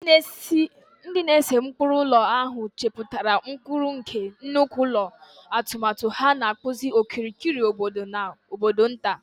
Ndị na-ese ụkpụrụ ụlọ ahụ chepụtara ụkpụrụ nke nnukwu ụlọ, atụmatụ ha na-akpụzi okirikiri obodo na obodo nta.